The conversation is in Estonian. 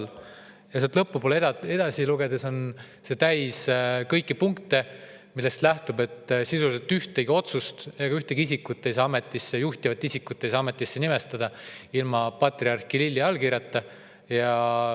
Ja kui sealt lõpu poole edasi lugeda, siis on see täis punkte, millest nähtub, et sisuliselt ühtegi otsust ega ühtegi juhtivat isikut ei saa ametisse nimetada ilma patriarh Kirilli allkirjata.